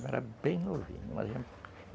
Eu era bem novinho